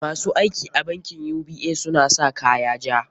Ma su aiki a bankin UBA suna sa kaya ja.